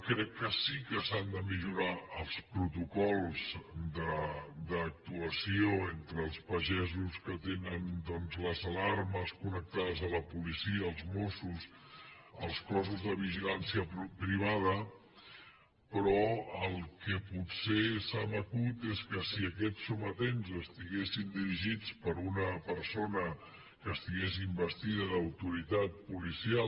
crec que sí que s’han de millorar els protocols d’actuació entre els pagesos que tenen doncs les alarmes connectades a la policia als mossos als cossos de vigilància privada però el que potser se m’acut és que si aquests sometents estiguessin dirigits per una persona que estigués investida d’autoritat policial